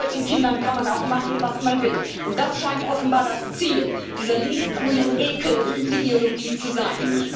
Mit solchen Kindern kann man auch machen, was man will, und das scheint offenbar das Ziel dieser links grünen Ekelideologie zu sein.